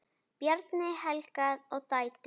Bjarni, Helga og dætur.